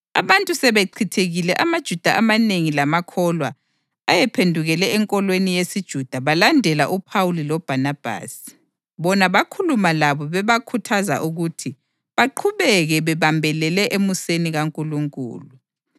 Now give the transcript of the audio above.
Abantu sebechithekile amaJuda amanengi lamakholwa ayephendukele enkolweni yesiJuda balandela uPhawuli loBhanabhasi, bona bakhuluma labo bebakhuthaza ukuthi baqhubeke bebambelele emuseni kaNkulunkulu.